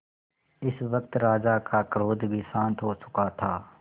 इस वक्त राजा का क्रोध भी शांत हो चुका था